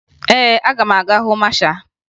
Ee, aga m aga hụ masha